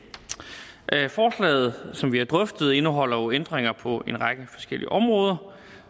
forslaget som vi har drøftet indeholder jo ændringer på en række forskellige områder